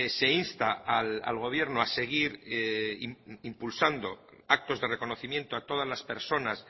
se insta al gobierno a seguir impulsando actos de reconocimiento a todas las personas